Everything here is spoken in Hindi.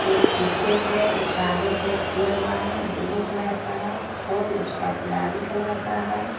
एक पीछे पैर एक आगे पैर किया हुआ है। ब्लू कलर का है। फर उसका गुलाबी कलर का है।